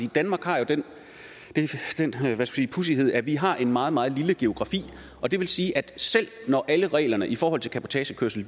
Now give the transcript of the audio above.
danmark har jo den pudsighed at vi har en meget meget lille geografi og det vil sige at selv når alle reglerne i forhold til cabotagekørsel